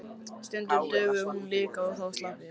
Stundum dugði hún líka og þá slapp ég.